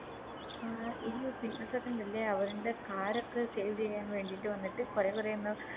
ആ ഈ Peoples ഒക്കെ ഇണ്ടല്ലേ അവരിൻറെ Car ഒക്കെ Save ചെയ്യാൻ വേണ്ടിട്ട് വന്നിട്ട് കൊറേ കൊറേ ഒന്ന്